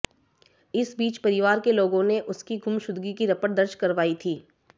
इसी बीच परिवार के लोगों ने उसकी गुमशुदगी की रपट दर्ज करवाई थी